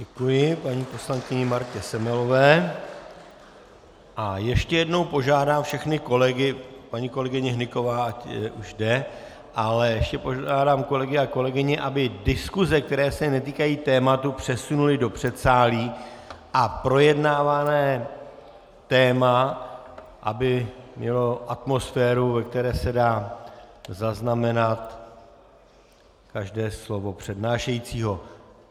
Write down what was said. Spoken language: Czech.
Děkuji paní poslankyni Martě Semelové a ještě jednou požádám všechny kolegy - paní kolegyně Hnyková už jde -, ale ještě požádám kolegy a kolegyně, aby diskuse, které se netýkají tématu, přesunuli do předsálí, a projednávané téma aby mělo atmosféru, ve které se dá zaznamenat každé slovo přednášejícího.